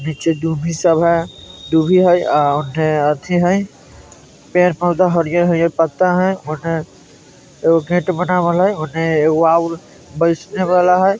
नीचे दुभी सब हैं दुभि हैं आ ऊन्ने अथी है पेड़-पौधा है हरियर हरियर पत्ता हैं उने एगो गेट बनावल हैं उने उ अ वहाँ बैठने वाला है ।